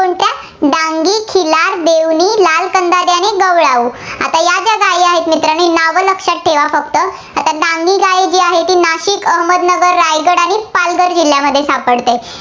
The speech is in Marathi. आता या ज्या गायी आहेत, मित्रांनो नावं लक्षात ठेवा फक्त. आता डांगी गाय जी आहे, ती नाशिक, अहमदनगर, रायगड आणि पालघर जिल्ह्यांमध्ये सापडते.